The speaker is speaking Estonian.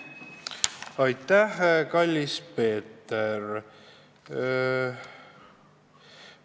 Aitäh, kallis Peeter!